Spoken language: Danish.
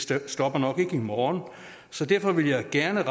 det stopper nok ikke i morgen så derfor vil jeg gerne